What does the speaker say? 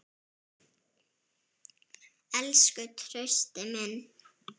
Elsku Trausti minn.